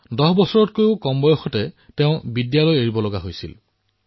দহ বছৰতকৈও কম বয়সতে তেওঁ বিদ্যালয় এৰিবলগীয়া হৈছিল